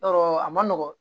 Yɔrɔ a man nɔgɔn